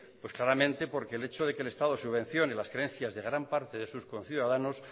pues claramente por el hecho de que el estado subvencione las creencias de gran parte de sus conciudadanos